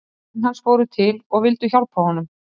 Menn hans fóru til og vildu hjálpa honum.